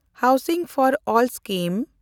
housing for all scheme